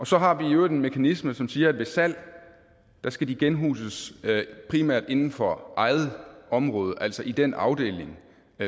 så har vi i øvrigt en mekanisme som siger at ved salg skal de genhuses primært inden for eget område altså i den afdeling